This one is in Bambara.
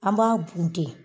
An b'a bunte .